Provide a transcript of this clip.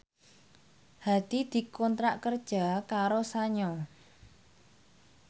Hadi dikontrak kerja karo Sanyo